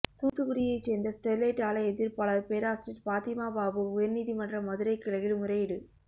தூத்துக்குடியைச் சேர்ந்த ஸ்டெர்லைட் ஆலை எதிர்ப்பாளர் பேராசிரியர் பாத்திமா பாபு உயர்நீதிமன்ற மதுரை கிளையில் முறையீடு